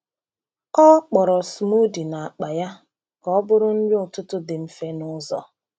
Ọ kpọrọ smoothie n’akpa ya ka ọ bụrụ nri ụtụtụ dị mfe n’ụzọ.